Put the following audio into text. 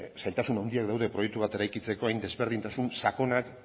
zailtasun handiak daude proiektu bat eraikitzeko hain desberdintasun sakonak